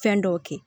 Fɛn dɔw kɛ